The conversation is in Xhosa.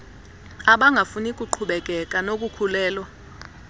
abangafuni kuqhubekeka nokukhulelwa